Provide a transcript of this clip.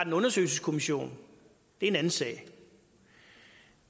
en undersøgelseskommission er en anden sag